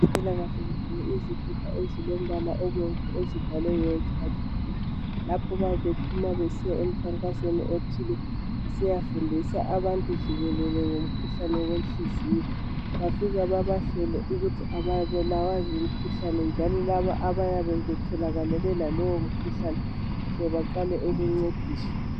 Abezempilakahle bagqoke izikipa ezilombala obomvu ezibhalwe World heart day lapho abayabe bephuma besiya emkhankasweni othile besiyafundisa abantu jikelele ngomkhuhlane wenhliziyo bafika bebahlole ukuthi ababulawa ngumkhuhlane njalo laba abayabe betholakale belalowo mkhuhlane bahle baqale ukuncediswa.